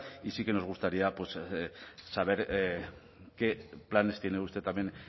y sí que nos gustaría pues saber qué planes tiene usted también